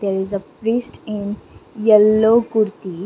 there is a priest in yellow kurti.